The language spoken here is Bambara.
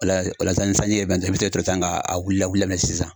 Walasa ni sanji ye ben i bi sɔrɔ k'a wuli daminɛ sisan